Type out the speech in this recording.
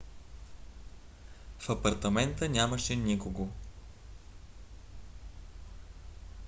в апартамента нямаше никого